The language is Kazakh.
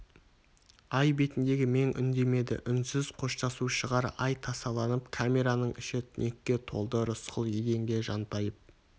ай бетіндегі мең үндемеді үнсіз қоштасу шығар ай тасаланып камераның іші түнекке толды рысқұл еденге жантайып